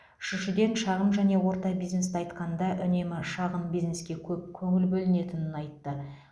үшіншіден шағын және орта бизнесті айтқанда үнемі шағын бизнеске көп көңіл бөлінетінін айтты